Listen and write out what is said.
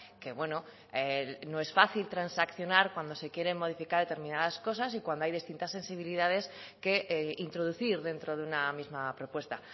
que bueno no es fácil transaccionar cuando se quieren modificar determinadas cosas y cuando hay distintas sensibilidades que introducir dentro de una misma propuesta